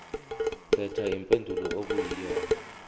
khetha impendulo okuyiyona